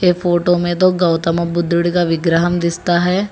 ये फोटो में दो गौतम बुद्ध का विग्रहम दिसता है।